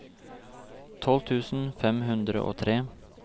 tolv tusen fem hundre og tre